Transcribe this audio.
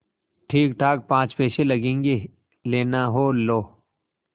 ठीकठाक पाँच पैसे लगेंगे लेना हो लो